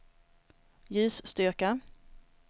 ljusstyrka